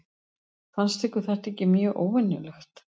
Fannst ykkur þetta ekki mjög óvenjulegt?